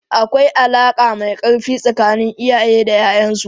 Akwai alaka mai karfi tsakanin iyaye da 'ya'yansu.